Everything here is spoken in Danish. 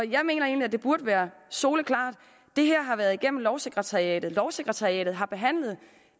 jeg mener egentlig at det burde være soleklart det her har været igennem lovsekretariatet lovsekretariatet har behandlet